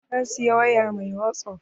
Na siyi waya mai wasup